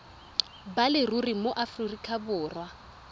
ba leruri mo aforika borwa